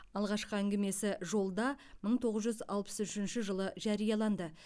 алғашқы әңгімесі жолда мың тоғыз жүз алпыс үшінші жылы жарияланды